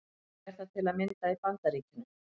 Þannig er það til að mynda í Bandaríkjunum.